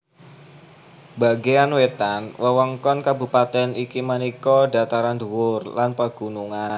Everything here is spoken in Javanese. Bagéan wétan wewengkon kabupatèn iki minangka dhataran dhuwur lan pagunungan